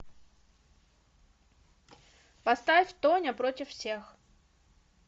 поставь тоня против всех